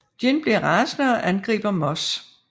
Gin bliver rasende og angriber Moss